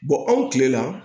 anw kile la